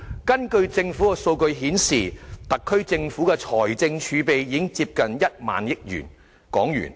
根據政府的數據，特區政府的財政儲備已接近1萬億港元。